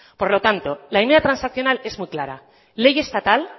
por lo tanto la medida transaccional es muy clara ley estatal